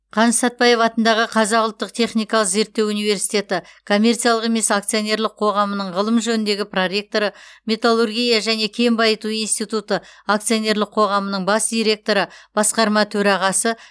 қаныш сәтбаев атындағы қазақ ұлттық техникалық зерттеу университеті коммерциялық емес акционерлік қоғамының ғылым жөніндегі проректоры металлургия және кен байыту институты акционерлік қоғамының бас директоры басқарма төрағасы